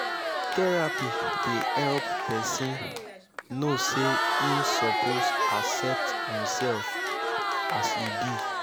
therapy dey help pesin no say im soppose accept imself as e be